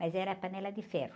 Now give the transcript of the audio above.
Mas era panela de ferro.